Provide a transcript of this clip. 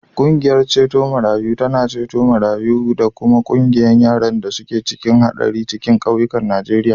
Ƙungiyar ceto marayu tana ceto marayu da kuma wanda yaran da suke cikin haɗari daga cikin ƙauyukan Najeriya.